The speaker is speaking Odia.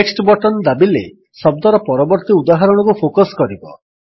ନେକ୍ସଟ୍ ବଟନ୍ ଦାବିଲେ ଶବ୍ଦର ପରବର୍ତ୍ତୀ ଉଦାହରଣକୁ ଫୋକସ୍ କରିବ